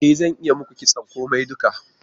E zan iya yi muku kitson komai duka.